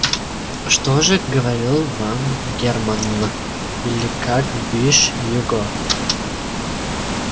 что же говорил вам германн или как бишь его